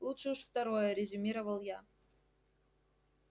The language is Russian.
лучше уж второе резюмировал я